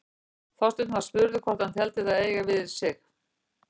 Þorsteinn var spurður hvort hann teldi það eiga við um sig.